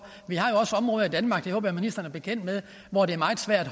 vi har jo også områder i danmark det håber jeg ministeren er bekendt med hvor det er meget svært